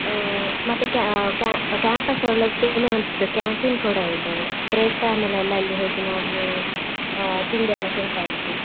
ಆ ಮತ್ತೆ ca~ campus ಒಳಕ್ಕೆ ಏನೊಒಂದ್ canteen ಕೂಡಾ ಇದೆ break time ಅಲ್ಲಿ ಎಲ್ಲಾ ಹೋಗಿ ನಾವು ಆ ತಿಂಡಿ ಎಲ್ಲಾ ತಿಂತಾ ಇದ್ವಿ.